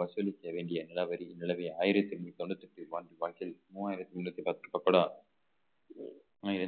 வசூலிக்க வேண்டிய நிலவரி நிலவை ஆயிரத்தி நூத்தி தொண்ணூத்தி எட்டு மூவாயிரத்தி முண்ணூத்தி பத்து